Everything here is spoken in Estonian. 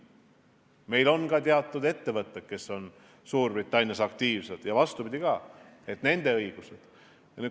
Meil on ka ettevõtteid, kes on Suurbritannias aktiivsed, ja ka neil on nende õigused.